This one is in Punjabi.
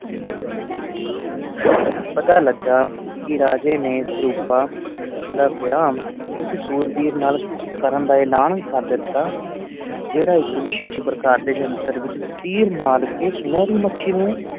ਪਤਾ ਲੱਗਾ ਕਿ ਰਾਜੇ ਨੇ ਸਰੂਪਾਂ ਦਾ ਵਿਆਹ ਉਸ ਸੂਰਬੀਰ ਨਾਲ ਕਰਨ ਦਾ ਐਲਾਨ ਕਰ ਦਿੱਤਾ ਜਿਹੜਾ ਇੱਕ ਵਿਸ਼ੇਸ਼ ਪ੍ਰਕਾਰ ਦੇ ਜੰਤਰ ਵਿੱਚ ਤੀਰ ਮਾਰ ਕੇ ਸੁਨਹਿਰੀ ਮੱਛੀ ਨੂੰ